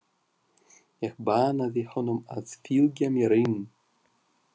Ég bannaði honum að fylgja mér inn.